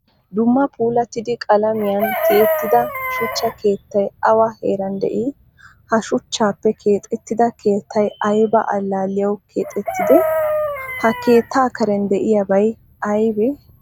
Dumma puulattida qalaamiyan tiyettida shuchcha keettay awa heeran de'i? Ha shuchchappe keexettida keettay ayba allaliyawu keexettide? Ha keetta kareen deiyaabay aybee?